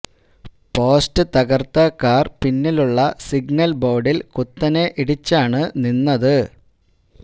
post തകര്ത്ത car പിന്നിലുള്ള signal ബോര്ഡില് കുത്തനെ ഇടിച്ചാണ് നിന്നത്